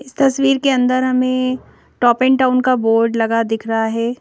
इस तस्वीर के अंदर हमें टॉप एंड टाउन का बोर्ड लगा दिख रहा है।